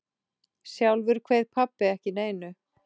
Sjálfur kveið pabbi ekki neinu.